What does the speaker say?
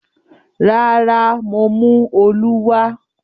Rárá, mo mú “olú” wá.